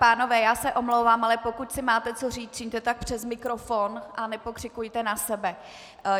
Pánové, já se omlouvám, ale pokud si máte co říct, čiňte tak přes mikrofon a nepokřikujte na sebe.